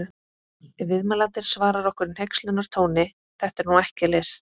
Ef viðmælandinn svarar okkur í hneykslunartóni: Þetta er nú ekki list!